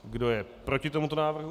Kdo je proti tomuto návrhu?